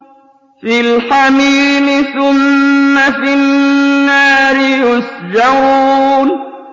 فِي الْحَمِيمِ ثُمَّ فِي النَّارِ يُسْجَرُونَ